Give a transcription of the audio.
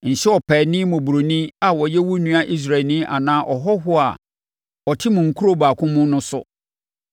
Nhyɛ ɔpaani mmɔborɔni a ɔyɛ wo nua Israelni anaa ɔhɔhoɔ a ɔte mo nkuro baako mu no so.